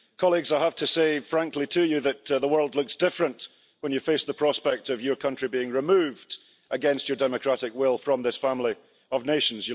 Colleagues, I have to say frankly to you that the world looks different when you face the prospect of your country being removed against your democratic will from this family of nations.